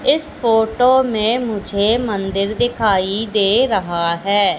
इस फोटो में मुझे मंदिर दिखाई दे रहा है।